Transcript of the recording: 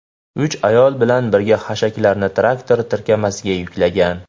uch ayol bilan birga hashaklarni traktor tirkamasiga yuklagan.